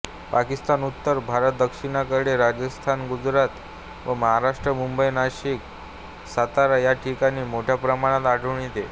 पाकिस्तानउत्तर भारतदक्षिणेकडे राजस्थानगुजरात व महाराष्ट्र मुंबईनाशिकसातारा या ठिकाणी मोठ्या प्रमाणात आढळून येतो